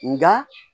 Nka